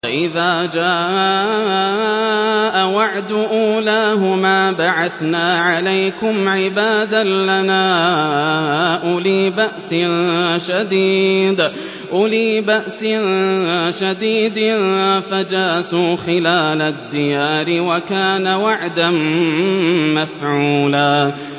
فَإِذَا جَاءَ وَعْدُ أُولَاهُمَا بَعَثْنَا عَلَيْكُمْ عِبَادًا لَّنَا أُولِي بَأْسٍ شَدِيدٍ فَجَاسُوا خِلَالَ الدِّيَارِ ۚ وَكَانَ وَعْدًا مَّفْعُولًا